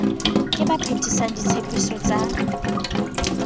ke ba phethisang ditshepiso ba